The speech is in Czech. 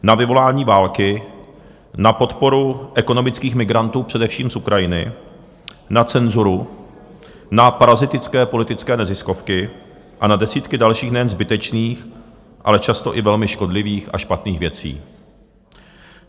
Na vyvolání války, na podporu ekonomických migrantů především z Ukrajiny, na cenzuru, na parazitické politické neziskovky a na desítky dalších, nejen zbytečných, ale často i velmi škodlivých a špatných věcí.